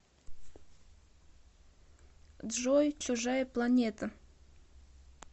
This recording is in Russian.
джой чужая планета